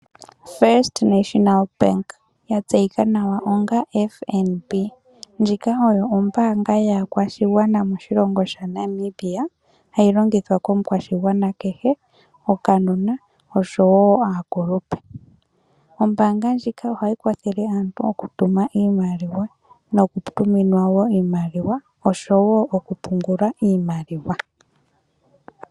First National Bank , yatseyika nawa onga FNB ndjika oyo ombanga yakwashingwana moshilongo sha Namibia hayi longithwa komukwashingwana kehe okanona osho wo aakulupe, ombanga ndjika ohayi kwathela aantu oku tuma iimaliwa noku tuminwa wo iimaliwa osho wo okupungula iimaliwa.